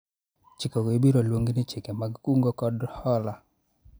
chikego ibiro luongi ni chike mag kungo kod hola